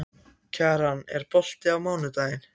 Kjaran, er bolti á mánudaginn?